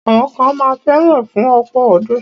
Àwọn kan ma fẹ́ra fún ọ̀pọ̀ ọdún.